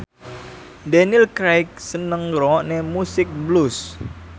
Daniel Craig seneng ngrungokne musik blues